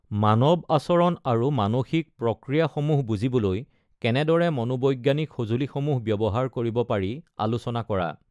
মানৱ আচৰণ আৰু মানসিক প্ৰক্ৰিয়াসমূহ বুজিবলৈ কেনেদৰে মনোবৈজ্ঞানিক সঁজুলিসমূহ বৱ্যহাৰ কৰিব পাৰি আলোচনা কৰা।